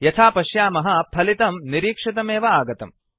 यथा पश्यामः फलितम् निरीक्षितमेव आगतम्